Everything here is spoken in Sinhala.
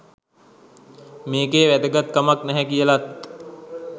මේකේ වැදගත්කමක් නැහැ කියලත්